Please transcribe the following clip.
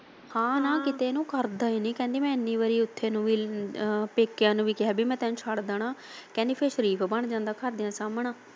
ਕਹਿੰਦੀ ਹਾਂ ਨਾ ਕਿਤੇ ਨੂੰ ਕਰਦਾ ਹੀ ਨਹੀਂ ਮੈਂ ਇੰਨੀ ਵਾਰ ਉੱਥੇ ਇਹਨੂੰ ਪੇਕਿਆ ਨੂੰ ਵੀ ਕਿਹਾ ਮੈਂ ਤੈਨੂੰ ਛੱਡ ਦੇਣਾ ਕਹਿੰਦੀ ਫਿਰ ਸਰੀਫ ਬਣ ਜਾਂਦਾ ਘਰਦਿਆ ਸਾਹਮਣੇ।